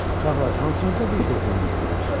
Uşaqlar, hansınızda bir qurtum viski var?